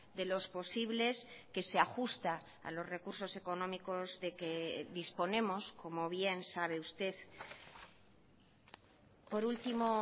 de los posibles que se ajusta a los recursos económicos de que disponemos como bien sabe usted por último